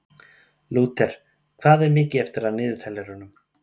Lúter, hvað er mikið eftir af niðurteljaranum?